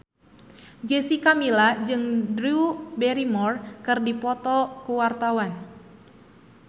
Jessica Milla jeung Drew Barrymore keur dipoto ku wartawan